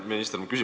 Hea minister!